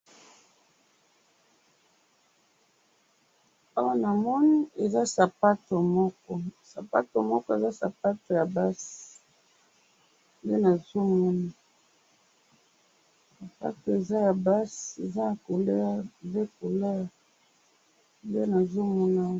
Awa namoni eza sapato moko ,sapato moko, eza sapato ya basi nde nazo mona, sapato eza ya basi, eza ya couleur, deux couleurs nde nazo mona